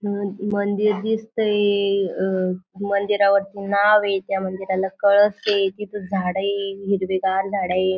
मन मंदिर दिसतंय. अं मंदिरावर पुन्हा वेगळ्या मंदिराला कळस आहे. तिथं झाडं आहे. हिरवीगार झाडं आहे.